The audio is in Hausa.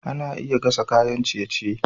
Ana iya gasa kayan ciye-ciye.